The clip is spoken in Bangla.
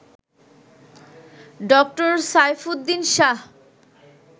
ড. সাইফুদ্দিন শাহ